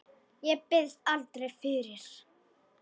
Ég biðst aldrei fyrir.